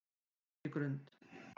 Birkigrund